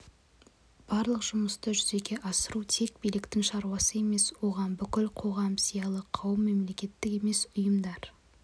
барлық жұмысты жүзеге асыру тек биліктің шаруасы емес оған бүкіл қоғам зиялы қауым мемлекеттік емес ұйымдар